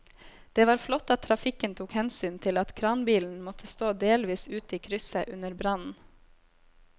Det var flott at trafikken tok hensyn til at kranbilen måtte stå delvis ute i krysset under brannen.